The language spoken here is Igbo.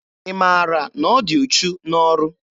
Ị maara na ọ dị uchu n'ọrụ?